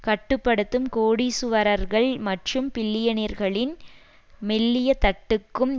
கட்டு படுத்தும் கோடீசுவரர்கள் மற்றும் பில்லியனர்களின் மெல்லிய தட்டுக்கும்